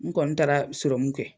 N kɔni taara seromu kɛ